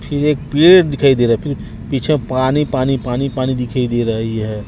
फिर एक पेड़ दिखाई दे रहा हैं फिर पीछे पानी पानी पानी पानी दिखाई दे रहीं हैं।